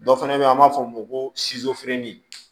Dɔ fana bɛ yen an b'a fɔ o ma ko